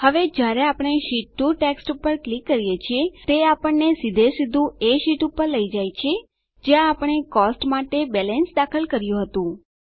હવે જયારે આપણે શીટ 2 ટેક્સ્ટ પર ક્લિક કરીએ છીએ તે આપણને સીધેસીધું એ શીટ પર લઇ જાય છે જ્યાં આપણે કોસ્ટ્સ માટે બેલેન્સ દાખલ કર્યું હતું